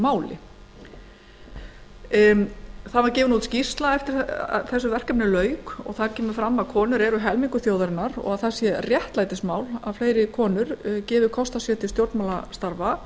máli gefin var út skýrsla eftir að verkefninu lauk þar kemur fram að konur eru helmingur þjóðarinnar og það sé réttlætismál að fleiri konur gefi kost á sér til stjórnmálastarfa